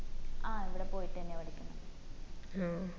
ആ അവിടെ പോയിട്ടെന്ന്യാ പഠിക്കിന്ന്